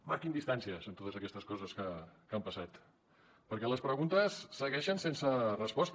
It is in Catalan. marquin distàncies amb totes aquestes coses que han passat perquè les preguntes segueixen sense resposta